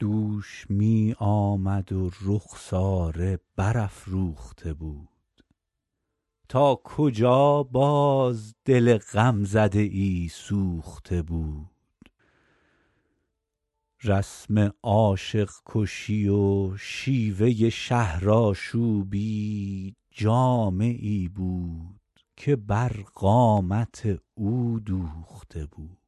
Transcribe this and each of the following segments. دوش می آمد و رخساره برافروخته بود تا کجا باز دل غمزده ای سوخته بود رسم عاشق کشی و شیوه شهرآشوبی جامه ای بود که بر قامت او دوخته بود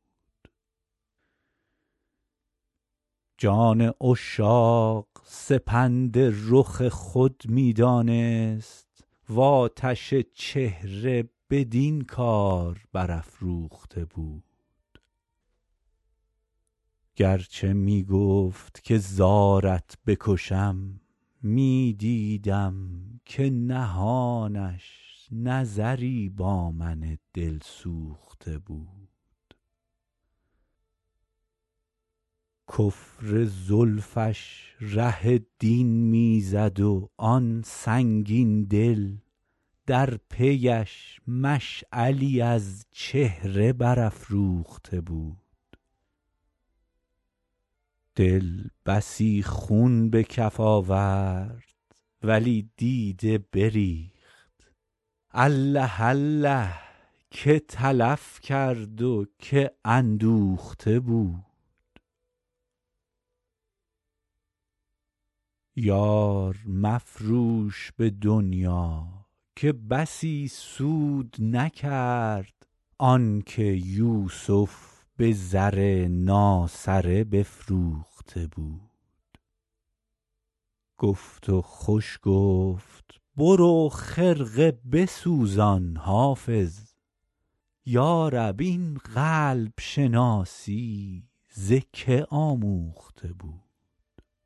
جان عشاق سپند رخ خود می دانست و آتش چهره بدین کار برافروخته بود گر چه می گفت که زارت بکشم می دیدم که نهانش نظری با من دلسوخته بود کفر زلفش ره دین می زد و آن سنگین دل در پی اش مشعلی از چهره برافروخته بود دل بسی خون به کف آورد ولی دیده بریخت الله الله که تلف کرد و که اندوخته بود یار مفروش به دنیا که بسی سود نکرد آن که یوسف به زر ناسره بفروخته بود گفت و خوش گفت برو خرقه بسوزان حافظ یا رب این قلب شناسی ز که آموخته بود